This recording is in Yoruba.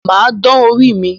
Mà á dán orí mí